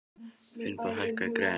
Finnbogi, hækkaðu í græjunum.